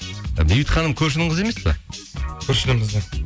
ы бейбіт ханым көршінің қызы емес пе көршінің қызы